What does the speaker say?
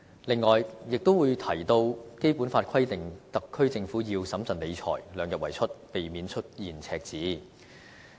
此外，亦會提到《基本法》規定了特區政府要審慎理財，量入為出，避免出現赤字。